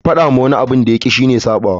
Faɗa wa wani abin da ya ƙi shi ne ya saɓawa.